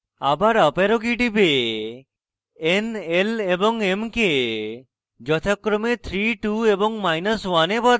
আবার up arrow key টিপে n l এবং m key যথাক্রমে 3 2 এবং1 এ বদলান